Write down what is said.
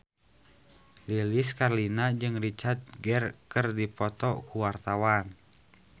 Lilis Karlina jeung Richard Gere keur dipoto ku wartawan